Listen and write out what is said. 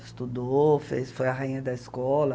Estudou, fez foi a rainha da escola.